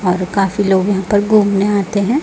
और काफी लोग यहां पर घूमने आते हैं।